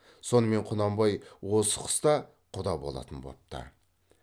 сонымен құнанбай осы қыста құда болатын бопты